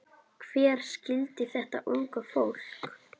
Hver skildi þetta unga fólk?